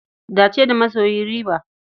Dace da masoyi riba.